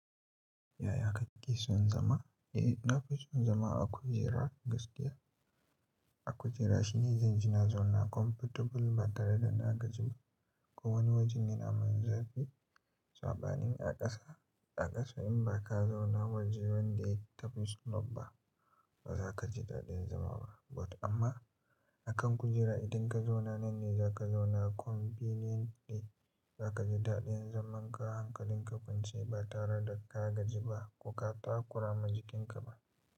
Yaya kake son zama? Eh, na fi son zama a kujera gaskiya. A kujera shine zan ji na zauna comfortable ba tare da na gaji ba. Ko wani wajen in an mun zaɓi saɓanin a ƙasa. A ƙasa in ba ka zauna wajen da ya tafi sulubba ba za ka ji daɗin zama ba. But amma a kan kujera idan ka zauna nan ne za ka zauna convenient ne. Za ka ji daɗin zaman ka, hankalin ka kwance ba tare da ka gaji ba ko ka takura ma jikin ka ba.